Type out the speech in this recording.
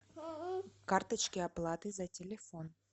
карточки оплаты за телефон